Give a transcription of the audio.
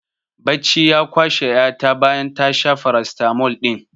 Bacci ya kwashe ƴa ta bayan ta sha farasitamol ɗin